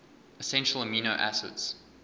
essential amino acids